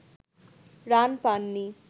run পান নি